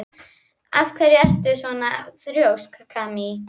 Af hverju ertu svona þrjóskur, Kamí?